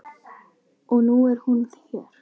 Og nú er hún hér.